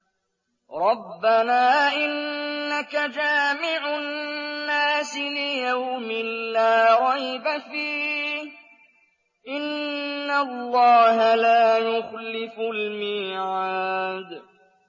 رَبَّنَا إِنَّكَ جَامِعُ النَّاسِ لِيَوْمٍ لَّا رَيْبَ فِيهِ ۚ إِنَّ اللَّهَ لَا يُخْلِفُ الْمِيعَادَ